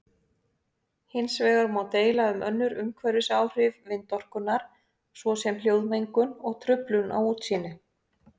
Hins vegar má deila um önnur umhverfisáhrif vindorkunnar svo sem hljóðmengun og truflun á útsýni.